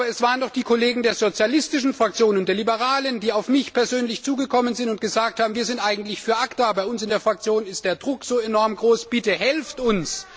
Aber es waren doch die Kollegen der sozialistischen Fraktion und der Liberalen, die auf mich persönlich zugekommen sind und gesagt haben, wir sind eigentlich für ACTA, bei uns in der Fraktion ist der Druck so enorm groß, bitte helft uns!